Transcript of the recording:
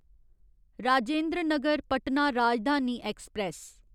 Rajendra Nagar Patna Rajdhani express